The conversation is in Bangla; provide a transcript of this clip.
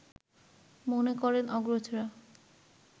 মনে করেন অগ্রজরা